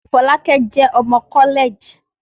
Fọlákẹ́ jẹ́ ọmọ kọ́lẹ̀ẹ̀jì